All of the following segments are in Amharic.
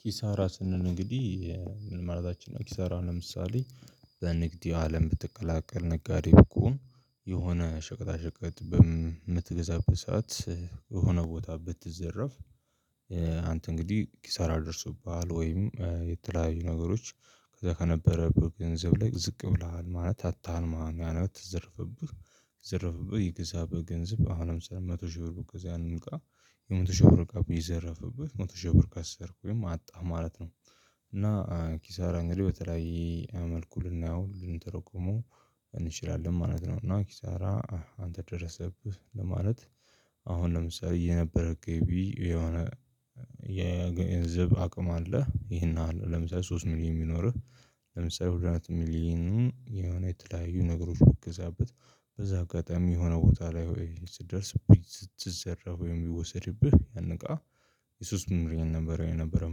ኪሳራ ስንል እንግዲህ ምን ማለታችን ነው? ኪሳራ ለምሳሌ ዘንግድ የአለም ብትቀላቀል ነጋዴ ከሆንክኮ የሆነ ሸቀጣ ሸቀጥ በምትገዛበት ሰዓት የሆነ ቦታ ብትዘረፍ አንተ እንግዲህ ኪሳራ ደርሶብሃል። ወይም የተለያዩ ነገሮች ከዛ ከነበረ ገንዘብ ላይ ዝቅ ብለሃል ማለት አታሀል ማለት ነዎ። ተዘርፍብህ ቢዝርፍብህ የግዛህበት ገንዘብ አሁን ለምሳሌ መቶ ሺህ ብትገዛው ያንን እቃ የመቶ ሺህ ብር እቃ ቢዘረፍብህ መቶ ሺህ ብር ከሰርክ ወይም አጣህ ማለት ነው። እና ኪሳራ እንግዲህ በተለያየ መልኩ ልናየው ልንተረጉመው እንችላለን ማለት ነው። እና ኪሳራ አንተ ደረሰብህ ለማለት። አሁን ለምሳሌ የነበረው ገቢ የሆነ የገንዘብ አቅም አለህ ይሄን ያህል ለምሳሌ ሶስት ሚሊየን ቢኖርህ ለምሳሌ ሁለት ሚሊየኑን የሆነ የተለያዩ ነገሮች በትገዛበት በዛ አጋጣሚ የሆነ ቦታ ላይ ወይ ስትደርስ ብትዘረፍ ወይም ቢወሰድብህ ያን እቃ። ሶስት ሚሊየን ነበረ የነበረህ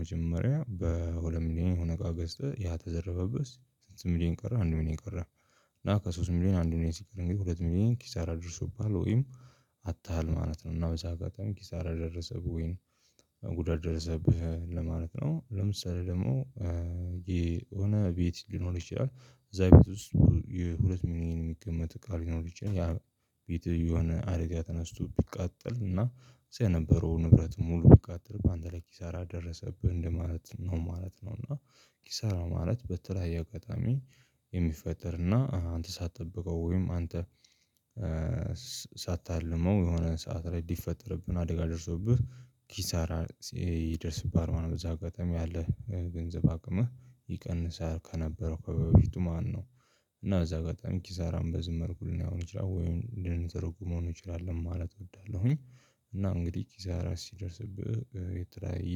መጀመሪያ በሁለት ሚሊየን የሆነ እቃ ገዝተህ ያ ተዘረፈብህ ስንት ሚሊየን ቀረህ አንድ ሚሊየን ቀረህ? እና ከሶስት ሚሊየን አንዱ ሚሊየን ሲቀር እንግዲህ ሁለት ሚሊየን ኪሳራ ደርሶብሃል ወይም አጥተህል ማለት ነው። እና በዛ አጋጣሚ ኪሳራ ደረሰብህ ወይም ጉዳት ደረሰብህ ለማለት ነው። ለምሳሌ ደግሞ የሆነ ቤት ሊኖር ይችላል። እዛ ቤት ውስጥ የሁለት ሚሊየን የሚገመት እቃ ሊኖር ይችላል ያ ቤት የሆነ አደጋ ተነስቶ ቢቃጠል እና እዛ የነበረው ንብረት ሙሉ ቢቃጠል በአንተ ላይ ኪሳራ ደረሰብህ እንደማለት ነው ማለት ነው። እና ኪሳራ ማለት በተለያየ አጋጣሚ የሚፈጠርና አንተ ሳትጠብቀው ወይም አንተ ሳታልመው የሆነን ሰዓት ላይ ቢፈጠርብን አደጋ ደርሶብህ ኪሳራ ይደርስብሀል ማለት ነው። በዛ አጋጣሚ ያለህ ገንዘብ አቅምህ ይቀንሳል ከነበረው ከበፊቱ ማነው? እና እዛ ጋር በጣም ኪሳራን በዚህ መልኩ ልናየው እንችላለን ወይም ልንተረጉመው እንችላለን ማለት እወዳለሁኝ። እና እንግዲህ ኪሳራ ሲደርስብህ የተለያየ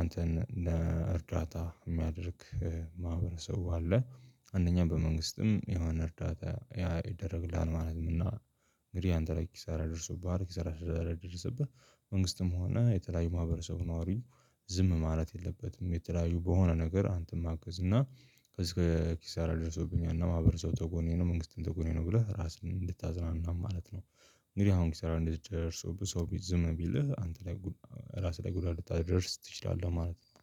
አንተን ለእርዳታ የሚያደርግ ማህበረሰብ አለ አንደኛ በመንግስትም የሆነ እርዳታ ያ ይደረግልሃል ማለት ነው። እና እንግዲህ አንተ ላይ ኪሳራ ደርሶብሀል ኪሳራ ስለደርሰብህ መንግስትም ሆነ የተለያዩ ማህበረሰብ ነዋሪ ዝም ማለት የለበትም። የተለያዩ በሆነ ነገር አንተን ማገዝ እና ከዚህ ከኪሳራ ደርሶብኛልና ማህበረሰቡ ከጎኔ ነው መንግስትም ከጎኔ ነው ብለህ ራስህን እንድታዝናናም ማለት ነው። እንግዲህ አሁን ኪሳራ እንደዚህ ደርሶብህ ብዙ ሰው ዝም ቢልህ አንተ ላይ ራስህ ላይ ጉዳት ልታደርስ ትችላለህ ማለት ነው።